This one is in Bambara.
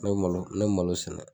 Ne bɛ malo ne bɛ malo sɛnɛ.